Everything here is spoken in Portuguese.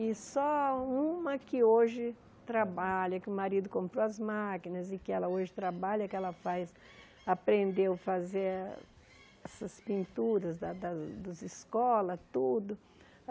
E só uma que hoje trabalha, que o marido comprou as máquinas e que ela hoje trabalha, que ela faz aprendeu a fazer essas pinturas da das das escolas, tudo.